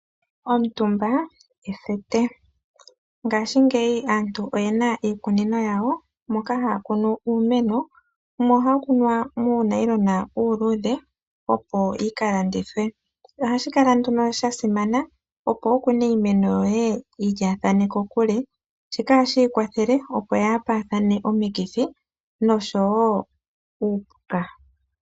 Omutumba ethete. Ngaashingeyi aantu oyena iikunino yawo moka haya kunu iimeno ,yimwe ohayi kunwa muunayilona uuludhe opo wuka landithwe shika ohashi yi kwathele opo kayi kwatwe komikithi noshowo uupuka.